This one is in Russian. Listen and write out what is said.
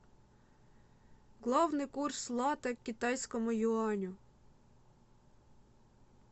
главный курс лата к китайскому юаню